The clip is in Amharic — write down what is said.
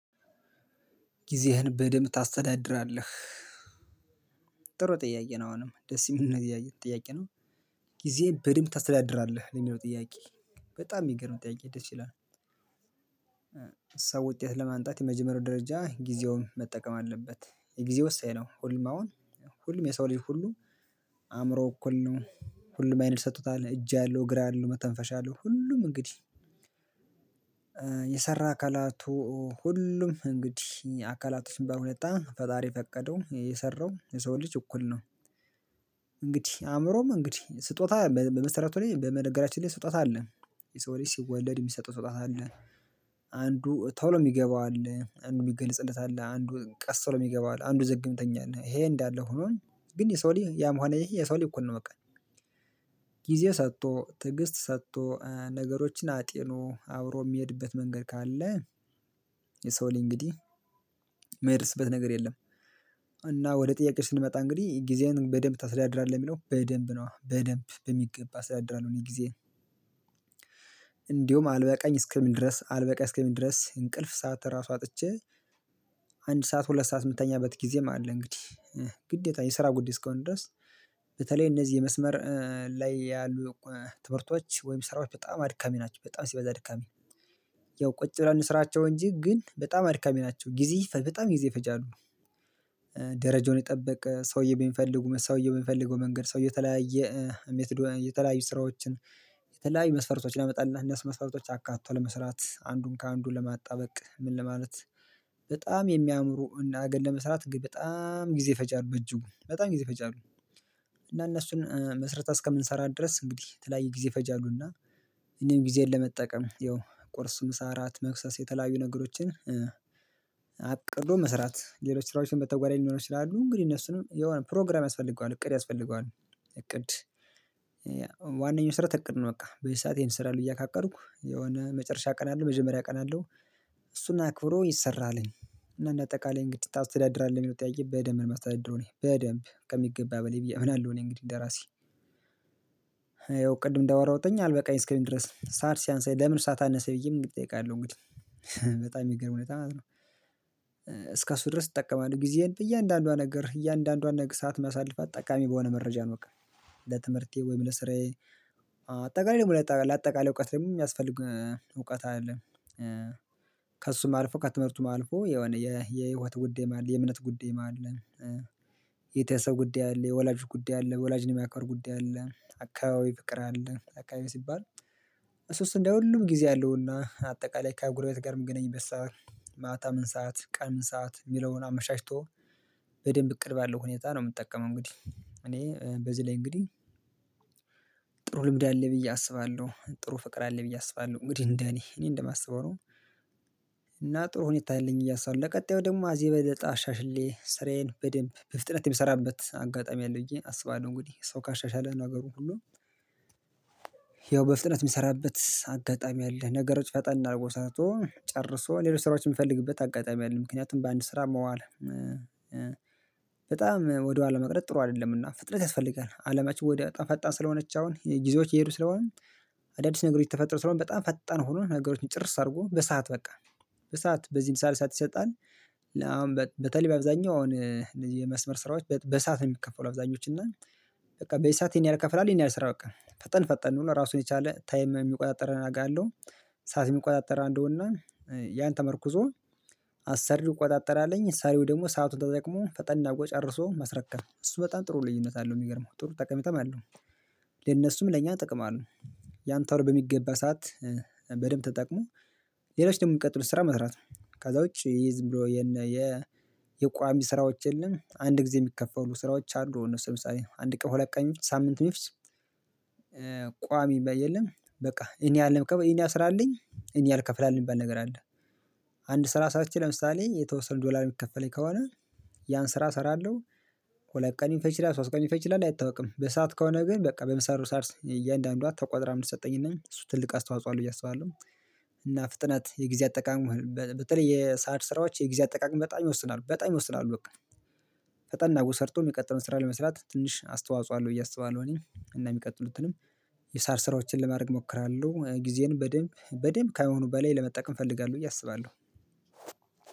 ጊዜህን በደንብ ታስተዳድራለህ? ጥሩ ጥያቄ ነው አሁንም ደስ የሚል ጥያቄ ጥያቄ ነው። ጊዜ በደንብ ታስተዳድራለህ የሚለው ጥያቄ? በጣም የሚገርም ጥያቄ ደስ ይላል። ሰው ውጤት ለማንጣት የመጀመሪያው ደረጃ ጊዜውን መጠቀም አለበት። የጊዜው ወሳኝ ነው ሁሉም አሁን ሁሉም የሰው ልጅ ሁሉ አእምሮ እኩል ነው። ሁሉም አይን ተሰጥቶታል እጅ አለው እግር አለው መተንፈሻ አለው ሁሉም እንግዲህ የሰራ አካላቱ ሁሉም እንግዲህ አካላቶች የሚባሉት በጣም ፈጣሪ የፈቀደው የሰራው የሰው ልጅ እኩል ነው። እንግዲህ አእምሮም እንግዲህ ስጦታ በ በመሰረቱ ላይ በመነገራችን ላይ ስጦታ አለ። የሰው ልጅ ሲወለድ የሚሰጠው ስጦታ አለ። አንዱ ቶሎ የሚገባው አለ አንዱ የሚገልጽለት አለ አንዱ ቀስ ብሎ የሚገባው አለ አንዱ ዘግምተኛል ይሄ እንዳለ ሆኖም ግን የሰው ልጅ ያም ሆነ ይህ የሰው ልጅ እኮ ነው። በቃ ጊዜ ሰጥቶ ትዕግስት ሰጥቶ ነገሮችን አጢኖ አብሮ የሚሄድበት መንገድ ካለ። የሰው ልጅ እንግዲህ የሚያደርስበት ነገር የለም። እና ወደ ጥያቄው ስንመጣ እንግዲህ ጊዜህን በደንብ ታስተዳድራለህ የሚለው በደንብ ነዋ በደንብ በሚገባ አስተዳድራለሁ። እኔ ጊዜ እንዲሁም አልበቃኝ እስከሚል ድረስ አልበቃኝ እስከምን ድረስ እንቅልፍ ሰዓት ራሱ አጥቸ። አንድ ሰዓት ሁለት ሰዓት የምተኛበት ጊዜም አለ እንግዲህ ግዴታ የስራ ጉዳይ እስከሆነ ድረስ። በተለይ እነዚህ የመስመር ላይ ያሉ ትምህርቶች ወይም ስራዎች በጣም አድካሚ ናቸው በጣም ሲበዛ አድካሚ። ያው ቁጭ ብለን እንስራቸው እንጂ ግን በጣም አድካሚ ናቸው ጊዜ በጣም ጊዜ ይፈጃሉ። ደረጃውን የጠበቀ ሰውዬ በሚፈልጉ ሰውዬው በሚፈልገው መንገድ ሰውዬ የተለያየ ሜትድ የተለያዩ ስራዎችን የተለያዩ መስፈርቶች ያመጣልና እነሱ መስፈርቶች አካቶ ለመስራት አንዱን ከአንዱ ለማጣበቅ ምን ለማለት። በጣም የሚያምሩ እና ሀገር ለመስራት በጣም ጊዜ ይፈጃሉ በእጅጉ በጣም ጊዜ ይፈጃሉ። እና እነሱን መስርተን እስከምንሰራ ድረስ እንግዲህ የተለያየ ጊዜ ይፈጃሉ እና እኔም ጊዜን ለመጠቀም ያው ቁርስ ምሳ አራት መክሰስ የተለያዩ ነገሮችን። አቅዶ መስራት ሌሎች ስራዎችን በተጓዳኝ ሊኖሩ ይችላሉ እንግዲህ እነሱንም የሆነ ፕሮግራም ያስፈልገዋል እቅድ ያስፈልገዋል። እቅድ ዋናኛው መስረት እቅድ ነው። በቃ በዚህ ሰዓት ይሄን እሰራለሁ ብየ ካቀዱኩ የሆነ መጨረሻ አቅዳለሁ መጀመሪያ አቅዳለሁ። እሱን አክብሮ ይሰራለኝ። እና እንደ አጠቃላይ እንዴት ታስተዳድራለህ? የሚለው ጥያቄ በደንብ ነው የማስተዳድረው እኔ በደንብ ከሚገባ በላይ ብዬ አምናለሁ። እኔ እንግዲህ እንደራሴ። ያው ቅድም እንዳወራውተኝ አልበቃኝ እስከሚል ድረስ ሠዓት ሲያንሰኝ ለምን ሠዓት አነሠኝ ብዬም እጠይቃለሁ። እንግዲህ በጣም የሚገርም በጣም እስከእሱ ድረስ እጠቀማለሁ ጊዜህን በእያንዳንዷ ነገር እያንዳንዷን ሠዓት ማሳልፍት ጠቃሚ በሆነ መረጃ ነው። በቃ ለትምህርቴ ወይም ለስራዬ አጠቃላይ ደግሞ ለአጠቃላይ እውቀት ደግሞ የሚያስፈልግ እውቀት አለ። ከእሱም አልፎ ከትምህርቱም አልፎ የሆነ የ የህይወት ጉዳይም አለ የእምነት ጉዳይም አለ። ቤተሰብ ጉዳይ አለ የወላጅ ጉዳይ አለ የወላጅ ነገር ጉዳይ አለ አካባቢ ፍቅር አለ አካባቢ ሲባል እሱስ እንደ ሁሉም ጊዜ አለውና አጠቃላይ ከጉረቤት ጋርም የምገናኝበት ሠዓት ማታ ምን ሰዓት ቀን ምን ሰዓት የሚለውን አመቻችቶ በደንብ እቅድ ባለው ሁኔታ ነው። የምጠቀመው እንግዲህ እኔ በዚህ ላይ እንግዲህ ጥሩ ልምድ አለኝ ብዬ አስባለሁ። ጥሩ ፍቅር አለ ብዬ አስባለሁ እንግዲህ እንደኔ እኔ እንደማስበው ነው። እና ጥሩ ሁኔታ አለኝ እያ ብየ አስባለሁ ለቀጣዩ ደግሞ አ ከዚህ የበለጠ አሻሽየ ስራዬን በደንብ በፍጥነት የምሰራበት አጋጣሚ አለ ብዬ አስባለሁ። እንግዲህ ሰው ካሻሻለ ነው ነገሩ ሁሉ። ያው በፍጥነት የምሰራበት አጋጣሚ አለ ነገሮች ፈጣን አድርጎ ሰርቶ ጨርሶ ሌሎች ስራዎች የምፈልግበት አጋጣሚ አለ። ምክንያቱም በአንድ ስራ መዋል በጣም ወደ ኋላ መቅረት ጥሩ አይደለምና። ፍጥነት ያስፈልጋል አለማችን ወዲው በጣም አጣን ፈጣን ስለሆነች አሁን ጊዜዎች እየሄዱ ስለሆነ አዳዲስ ነገሮች ተፈጥሮ ስለሆነ በጣም ፈጠን ሆኖ ነገሮችን ጭርስ አድርጎ በሰአት በቃ በሰአት በዚህም ሰዓት ሰዓት ይሰጣል። አሁን በተለይ በአብዛኛው አሁን የመስመር ስራዎች በሰአት ነው የሚከፈሉ አብዛኞቹ እና በቃ በዚህ ሰዓት ይሄን ያህል እከፍላለሁ ይሄን ያህል ስራ በቃ ፈጠን ፈጠን ነው ራሱን የቻለ ታይም የሚቆጣጠረን አውቃለው። ሰዓት የሚቆጣጠረ አለውና ያንን ተመርኩዞ አሰሪው ይቆጣጠራለኝ ሰሪው ደግሞ ሰአቱን ተጠቅሞ ፈጠን አድርጎ ጨርሶ ማስረከብ እሱ በጣም ጥሩ ልዩነት አለው የሚገርመው ጥሩ ጠቀሜታም አለው። የነሱም ለእኛ ጥቅም አለው። ያንን ቶሎ በሚገባ ሰዓት በደንብ ተጠቅሞ ሌሎች ደግሞ የሚቀጥሉት ስራ መስራት ነው። ከዛ ውጪ ይሄ ዝም ብሎ የነ የ የቋሚ ስራዎች የለም። አንድ ጊዜ የሚከፈሉ ስራዎች አሉ እነሱ ለምሳሌ አንድ ቀን ሁለት ቀንም ይፍጅ ሳምንት። ቋሚ የለም። በቃ ይህን ያህል ስራአለኝ ይህን ያህል እከፍልሀለሁ የሚባል ነገር አለ። አንድ ስራ ሰራቸ ለምሳሌ የተወሰነ ዶላር የሚከፈለኝ ከሆነ ያን ስራ እሰራለሁ። ሁለት ቀንም ሊፈጅ ይችላልሶስት ቀንም ሊፈጅ ይችላል አይታወቅም። በሰአት ከሆነ ግን በቃ በምሰራው ስራ ስ እያንዳንዷን ተቋጥራ የምትሰጠኝም እሱ ትልቅ አስተዋጽኦ አለው ብዬ አስባለሁ። እና ፍጥነት የጊዜ አጠቃቀም በተለይ የሠዓት ስራዎች የጊዜ አጠቃቀም በጣም ይወስናሉ በጣም ይወስናሉ በቃ። ፈጠን አርጎ ሰርቶ የሚቀጥለውን ስራ ለመስራት ትንሽ አስተዋጽኦ አለው ብየ አስባለሁ። እኔም እና የሚቀጥሉትንም የሠዓት ስራዎችን ለማድረግ እሞክራለሁ ጊዜን በደንብ በደንብ ከአሁኑ በላይ ለመጠቀም እፈልጋለሁ ብዬ አስባለሁ።